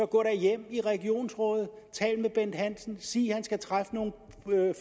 gå hjem i regionsrådet og tale med bent hansen og sige at han skal træffe nogle